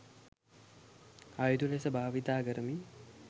අයුතු ලෙස භාවිතා කරමින්